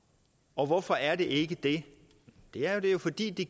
og hvorfor er det ikke det ja det er jo fordi det